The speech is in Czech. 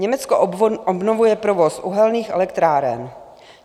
Německo obnovuje provoz uhelných elektráren.